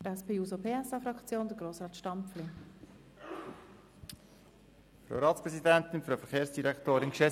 Für die SP-JUSO-PSA-Fraktion hat Grossrat Stampfli das Wort.